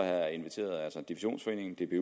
jeg inviteret divisionsforeningen